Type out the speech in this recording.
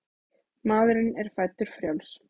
Maðurinn er fæddur frjáls.